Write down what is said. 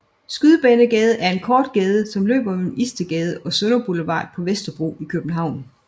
Skydebanegade er en kort gade som løber mellem Istedgade og Sønder Boulevard på Vesterbro i København